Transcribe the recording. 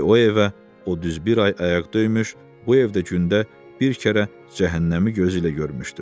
Çünki o evə o düz bir ay ayaq döymüş, bu evdə gündə bir kərə cəhənnəmi gözü ilə görmüşdü.